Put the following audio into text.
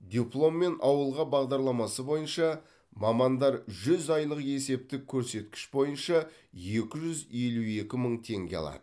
дипломмен ауылға бағдарламасы бойынша мамандар жүз айлық есептік көрсеткіш бойынша екі жүз елу екі мың теңге алады